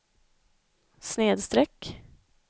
snedsträck